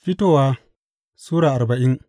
Fitowa Sura arbain